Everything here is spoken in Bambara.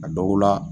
A dɔw la